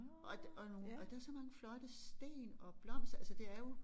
Og og nogle og der så mange flotte sten og blomster altså det er jo